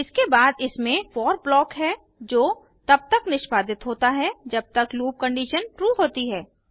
इसके बाद इसमें फोर ब्लॉक है जो तब तक निष्पादित होता है जब तक लूप कंडीशन ट्रू होती है